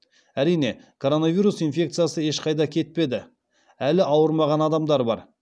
әрине коронавирус инфекциясы ешқайда кетпеді әлі ауырмаған адамдар бар